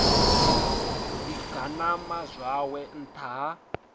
ḓi ganama zwawe nṱtha ha